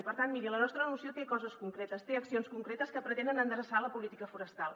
i per tant miri la nostra moció té coses concretes té accions concretes que pretenen endreçar la política forestal